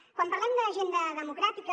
quan parlem d’agenda democràtica